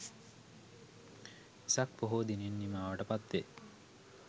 වෙසක් පොහෝ දිනෙන් නිමාවට පත්වේ.